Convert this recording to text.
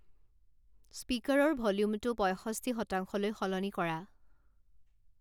স্পিকাৰৰ ভ'ল্যুমটো পয়ষষ্ঠী শতাংশলৈ সলনি কৰা